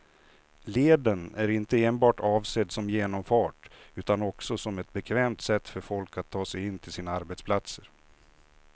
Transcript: Leden är inte enbart avsedd som genomfart utan också som ett bekvämt sätt för folk att ta sig in till sina arbetsplatser.